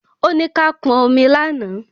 Ó ní ká pọn omi lánàá